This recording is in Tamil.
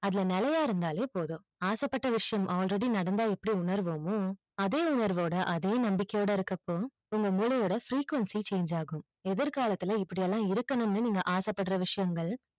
அதுல நிலையா இருந்தாலே போதும் ஆசை பட்ட விஷியம் already நடந்தா எப்படி உணர்வு அதே உணர்வோடு அதே நம்பிக்கையோடு இருக்குற அப்ப உங்க மூளை ஓட frequency change ஆகும் எதிர் காலத்தில இப்படிலாம் இருக்கனும் நீங்க ஆசைப்படுற விஷியன்கள்